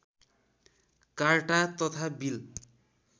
carta तथा bill